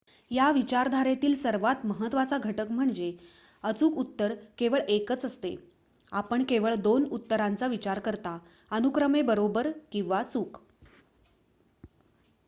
या विचारधारेतील सर्वात महत्वाचा घटक म्हणजेः अचूक उत्तर केवळ एकच असते आपण केवळ दोन उत्तरांचा विचार करता अनुक्रमे बरोबर किंवा चूक